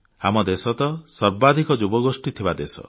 ଆମ ଦେଶ ତ ସର୍ବାଧିକ ଯୁବଗୋଷ୍ଠୀ ଥିବା ଦେଶ